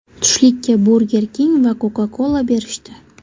Tushlikka Burger King va Coca-Cola berishdi.